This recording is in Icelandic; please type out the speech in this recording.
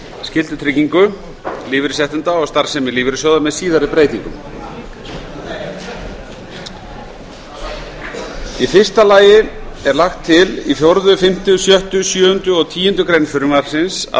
skyldutryggingu lífeyrisréttinda og starfsemi lífeyrissjóða með síðari breytingum í fyrsta lagi er lagt til í fjórðu fimmtu sjöttu sjöundu og tíundu grein frumvarpsins að